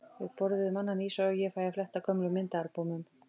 Við borðum annan ís og ég fæ að fletta gömlum myndaalbúmum.